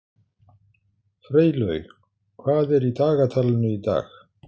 Freylaug, hvað er í dagatalinu í dag?